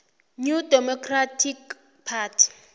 new democratic party